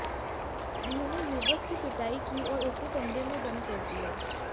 उन्होंने युवक की पिटाई की और उसे कमरे में बंद कर दिया